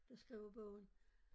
Der skriver bogen